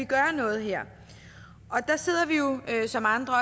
gøre noget her der sidder vi jo som andre